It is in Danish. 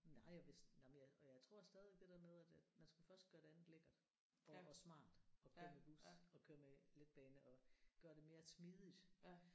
Nej og hvis nej men jeg og jeg tror stadig det der med at at man skal først gøre det andet lækkert og og smart at køre i bus og køre med letbane og gøre det mere smidigt